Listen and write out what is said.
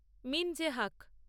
মঞ্জে হাক